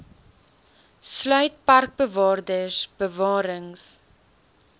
sluit parkbewaarders bewarings